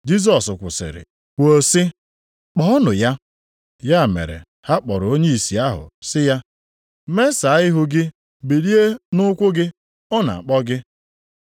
Jisọs kwụsịrị kwuo sị, “Kpọọnụ ya.” Ya mere ha kpọrọ onye ìsì ahụ, sị ya, “Mesaa ihu gị bilie nʼụkwụ gị, ọ na-akpọ gị.”